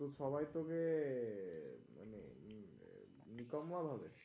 ও তো সবাই তোকে নিকাম্মা ভাবে?